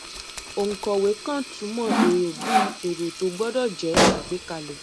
òǹkọwé kan túmọ èrò bí èrò tó gbọdọ jẹ àgbékalẹ